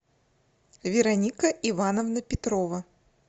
вероника ивановна петрова